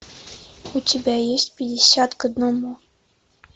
у тебя есть пятьдесят к одному